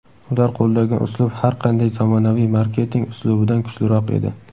Ular qo‘llagan uslub har qanday zamonaviy marketing uslubidan kuchliroq edi.